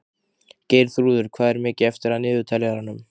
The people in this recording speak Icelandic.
Geirþrúður, hvað er mikið eftir af niðurteljaranum?